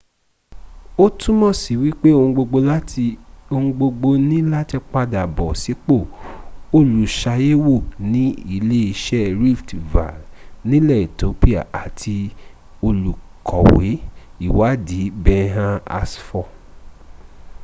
ó túmọ̀sí wípé ohun gbogbo ní láti padàbọ̀ sípò olùsàyẹ̀wò ní iléeṣẹ́ rift valle nilẹ̀ ethiopia àti olùkọ̀we ìwáàdí berhane asfaw